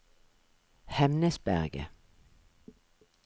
Hemnesberget